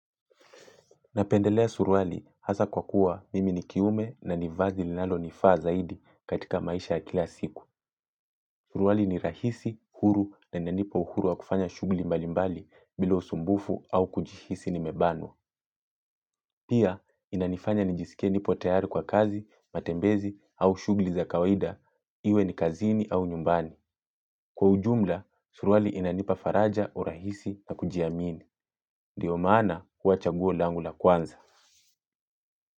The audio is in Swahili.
Napendelea suruali hasa kwa kuwa mimi ni kiume na ni vazi linalonifaa zaidi katika maisha ya kila siku. Suruali ni rahisi, huru na inanipa uhuru wa kufanya shughuli mbalimbali bila usumbufu au kujihisi nimebanwa. Pia, inanifanya nijisikie nipo tayari kwa kazi, matembezi au shughuli za kawaida, iwe ni kazini au nyumbani. Kwa ujumla, suruali inanipa faraja urahisi na kujiamini. Ndio maana kuwa chaguo langu la kwanza.